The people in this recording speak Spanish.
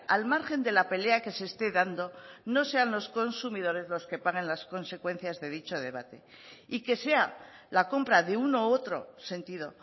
al margen de la pelea que se esté dando no sean los consumidores los que pagan las consecuencias de dicho debate y que sea la compra de uno u otro sentido